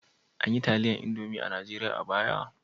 An yi taliyar Indomi a Najeriya a baya?